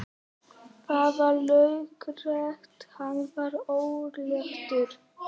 Það var laukrétt, hann var örlátur.